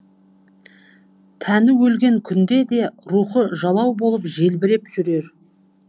тәні өлген күнде де рухы жалау болып желбіреп жүрер